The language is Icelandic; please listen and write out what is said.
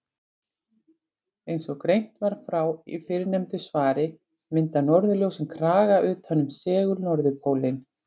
Eins og greint var frá í fyrrnefndu svari mynda norðurljósin kraga utan um segul-norðurpólinn.